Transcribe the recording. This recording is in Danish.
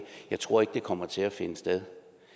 jeg tror ikke det kommer til at finde sted